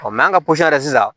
an ka sisan